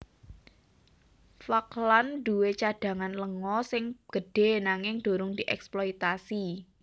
Falkland duwé cadhangan lenga sing gedhé nanging durung dièksploitasi